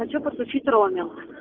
хочу подключить роуминг